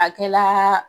A kɛla